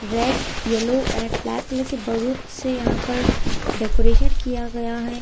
Red yellow and black colour के बहुत से यहां पर डेकोरेशन किया गया है।